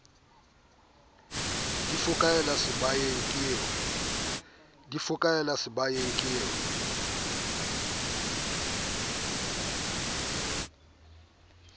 di fokaela sebaeng ke o